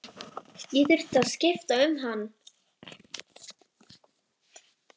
Ég þurfti að skipta um hann.